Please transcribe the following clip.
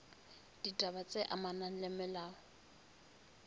ditaba tse amanang le molao